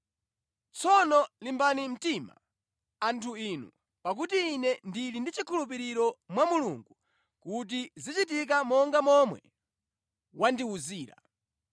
Tsono limbani mtima, anthu inu, pakuti ine ndili ndi chikhulupiriro mwa Mulungu kuti zichitika monga momwe wandiwuzira.